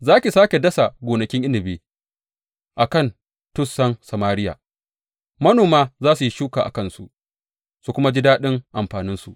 Za ki sāke dasa gonakin inabi a kan tussan Samariya; manoma za su yi shuka a kansu su kuma ji daɗin amfaninsu.